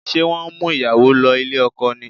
Ṣé wọ́n ń mú ìyàwó lọ ilé ọkọ ni?